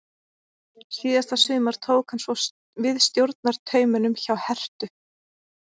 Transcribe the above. Síðasta sumar tók hann svo við stjórnartaumunum hjá Herthu.